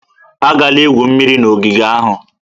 Agala igwu mmiri na ogige ahụ!